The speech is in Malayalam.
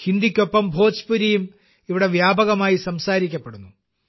ഹിന്ദിയ്ക്കൊപ്പം ഭോജ്പുരിയും ഇവിടെ വ്യാപകമായി സംസാരിക്കപ്പെടുന്നു